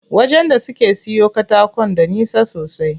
Wajen da suke siyo katakon da nisa sosai.